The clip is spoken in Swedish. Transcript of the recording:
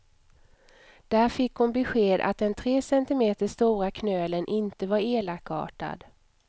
Där fick hon besked att den tre centimeter stora knölen inte var elakartad.